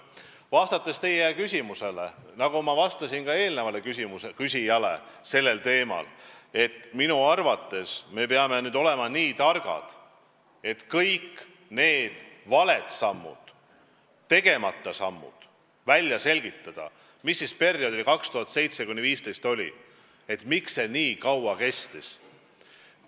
Vastates teie küsimusele, nagu ma vastasin ka eelmisele sellel teemal küsijale, ma arvan, et me peame nüüd olema nii targad, et kõik perioodil 2007–2015 tehtud valed sammud või tegemata sammud välja selgitada ja teada saada, miks see kõik nii kaua kestis.